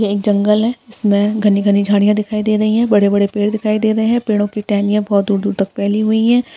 यह एक जंगल है जिसमें घनी-घनी झाड़ियां दिखाई दे रही है बड़े-बड़े पेड़ दिखाई दे रहे है पेड़ों की टहनियों बहुत दूर-दूर तक पैलीं हुई हैं।